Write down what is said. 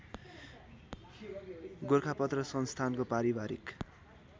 गोरखापत्र संस्थानको पारिवारिक